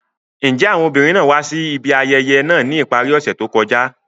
Njẹ awọn obinrin naa wa si ibi ayẹyẹ naa ni ipari ose to kọja?